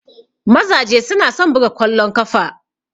Mazaje su na son buga kwallon kafa.